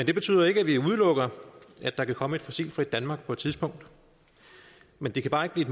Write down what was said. det betyder ikke at vi udelukker at der kan komme et fossilfrit danmark på et tidspunkt men det kan bare ikke blive